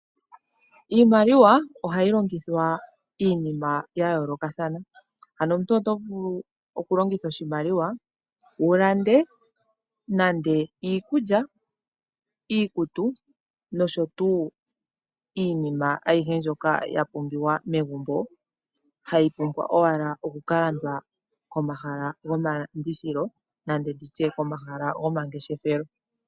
Iimaliwa ohayi longitha iinima ya yoolokathana, anho omuntu oto vulu okulongitha oshimaliwa wu lande nande iikulya, iikutu nosho tu iinima ayihe ndyoka ya pumbiwa megumbo, hayi pumbwa owala okukalandwa komahala gomalandithilo nenge ndi tye omahala gomangeshefelo.